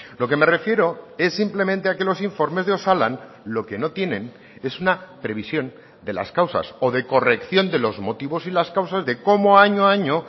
lo que me refiero es simplemente a que los informes de osalan lo que no tienen es una previsión de las causas o de corrección de los motivos y las causas de cómo año a año